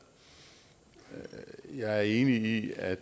jeg er enig i at